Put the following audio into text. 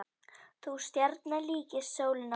Sú stjarna líkist sólinni okkar.